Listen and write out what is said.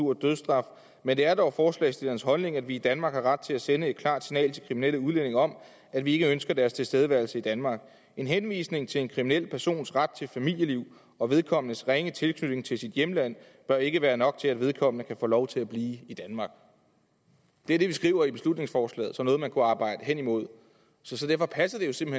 og dødsstraf men det er dog forslagsstillernes holdning at vi danmark har ret til at sende et klart signal til kriminelle udlændinge om at vi ikke ønsker deres tilstedeværelse i danmark en henvisning til en kriminel persons ret til familieliv og vedkommendes ringe tilknytning til sit hjemland bør ikke være nok til at vedkommende kan få lov til at blive i danmark det er det vi skriver i beslutningsforslaget som noget man kunne arbejde hen imod så derfor passer det som